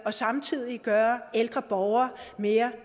og samtidig gøre ældre borgere mere